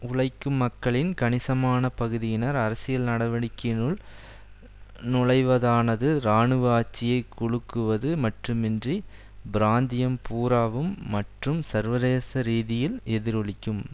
உழைக்கும் மக்களின் கணிசமான பகுதியினர் அரசியல் நடவடிக்கையினுள் நுழைவதானது இராணுவ ஆட்சியை குலுக்குவது மட்டுமன்றி பிராந்தியம் பூராவும் மற்றும் சர்வதேச ரீதியில் எதிரொலிக்கும்